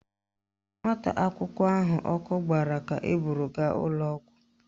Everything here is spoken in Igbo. Nwata akwụkwọ ahụ ọkụ gbara ka eburu gaa ụlọọgwụ